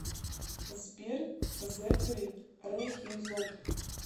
сбер зэфэри рэхимзод